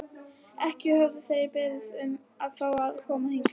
Ekki höfðu þeir beðið um að fá að koma hingað.